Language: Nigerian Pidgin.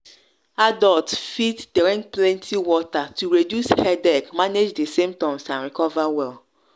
adults fit drink plenty water to reduce headache manage di symptoms and recover well.